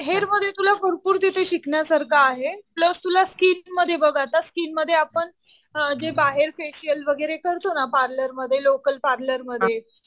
Hair मध्ये तुला भरपूर तिथे शिकण्यासारखं आहे. प्लस तुला स्किन मध्ये बघ आता स्किन मध्ये आपण जे बाहेर फेशियल वगैरे करतो ना पार्लर मध्ये, लोकल पार्लर मध्ये